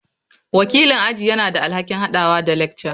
Wakilin aji yana da alhakin haɗawa da lecturer.